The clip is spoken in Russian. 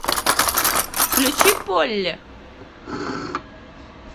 включи полли